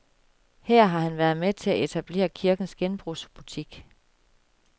Her har han været med til at etablere kirkens genbrugsbutik.